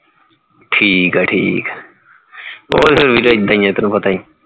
ਠੀਕ ਹੈ ਠੀਕ ਹੈ ਉਹ ਤਾ ਵੀਰੇ ਏਦਾਂ ਹੀ ਹੈ ਤੈਨੂੰ ਪਤਾ ਹੀ